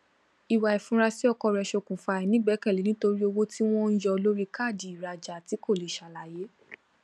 ìwà ifurasi ọkọ rẹ ṣokùnfà àìnígbẹkẹlé nítorí owó tí wón ń yọ lórí káàdì ìrajà tí kò lè ṣàlàyé